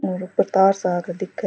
और ऊपर तार सा क दिखे।